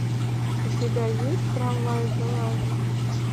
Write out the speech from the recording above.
у тебя есть трамвай желание